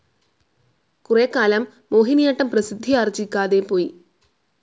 കുറെകാലം മോഹിനിയാട്ടം പ്രസിദ്ധിയാർജ്ജിക്കാതെ പോയി.